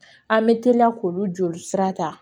An bɛ teliya k'olu joli sira ta